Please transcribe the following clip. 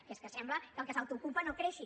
que és que sembla que el que s’autoocupa no creixi